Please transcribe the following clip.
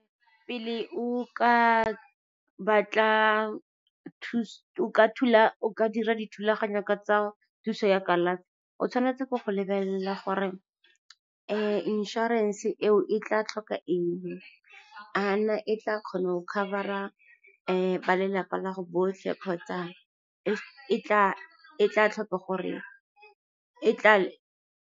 Pele o ka dira dithulaganyo tsa thuso ya kalafi, o tshwanetse go lebelela gore insurance eo e tla tlhoka eng, a na e tla kgona go cover-a ba lelapa la go botlhe, kgotsa e tla tlhoka .